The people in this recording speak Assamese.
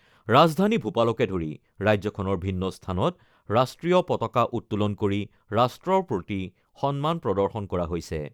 ৰাজধানী ভূপালকে ধৰি ৰাজ্যখনৰ ভিন্ন স্থানত ৰাষ্ট্ৰীয় পতাকা উত্তোলন কৰি ৰাষ্ট্ৰৰ প্ৰতি সন্মান প্ৰদৰ্শন কৰা হৈছে।